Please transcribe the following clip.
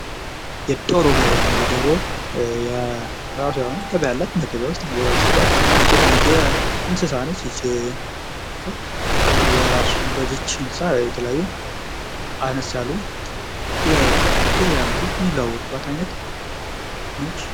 የዶሮ ገበያ እንግዲህ ዶሮ የአውዳመት ገበያ እለት ገበያ ውስጥ ቦታ ተሰጥቷት የምትሸት አይነት እንስሣ ነች። በዚች እንሣ የተለያዩ ገበያ የሚለዋወጡባት አይነት ነች።